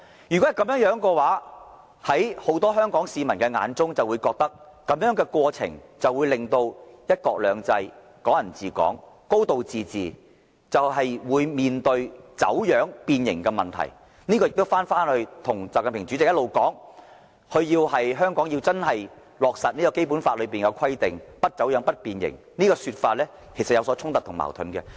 如此一來，很多香港市民便會感到在這過程中，"一國兩制"、"港人治港"、"高度自治"定必面對走樣、變形的問題，這亦與習近平主席一直主張，香港要真正落實《基本法》的規定，不走樣和不變形的說法有所衝突及矛盾。